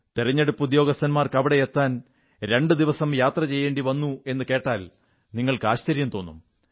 തിരഞ്ഞെടുപ്പുദ്യോഗസ്ഥർക്ക് അവിടെ എത്താൻ രണ്ടു ദിവസം യാത്ര ചെയ്യേണ്ടി വന്നു എന്നു കേട്ടാൽ നിങ്ങൾക്ക് ആശ്ചര്യം തോന്നും